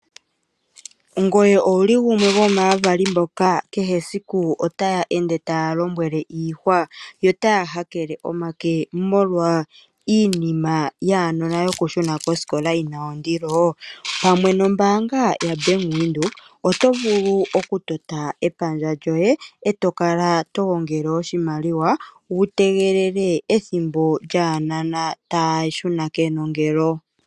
Ngoye owuli gumwe gomaavali mboka kehe esiku otaya ende taya lombwele iihwa, yo taya hakele omake molwa iinima yaanona yokushuna kosikola yi na ondilo? Pamwe nombaanga ya Bank Windhoek oto vulu okutota epandja lyoye e to kala to gongele oshimaliwa wu tegelele ethimbo lyaanona taya shuna kenongelo.